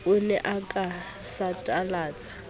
o ne o ka satalatsa